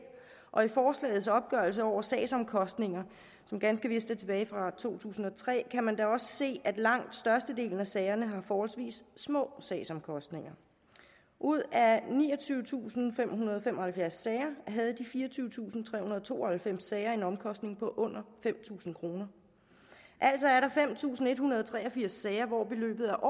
og i forslagets opgørelse over sagsomkostninger som ganske vist er tilbage fra to tusind og tre kan man da også se at langt størstedelen af sagerne har forholdsvis små sagsomkostninger ud af niogtyvetusinde og femhundrede og femoghalvfjerds sager havde de fireogtyvetusinde og tooghalvfems sager en omkostning på under fem tusind kr altså er der fem tusind en hundrede og tre og firs sager hvor beløbet er